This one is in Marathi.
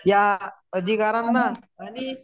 या अधिकारांना आणि